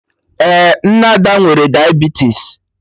Ee, nne Ada nwere diabetisi